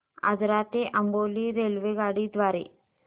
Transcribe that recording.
आजरा ते अंबोली रेल्वेगाडी द्वारे